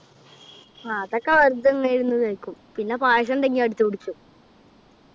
ആഹ് അതൊക്കെ വെറുതെ ഇങ്ങനെ ഇരുന്നു കഴിക്കും. പിന്നെ പായസം ഉണ്ടെങ്കി അടിച്ച് കുടിക്കും.